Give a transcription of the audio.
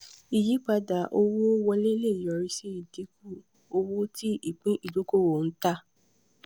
ìyípadà owó wọlé lè yọrí sí ìdínkù owó tí ìpín ìdókòwò ń tà.